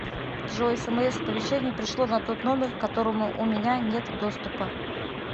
джой смс оповещения пришло на тот номер которому у меня нет доступа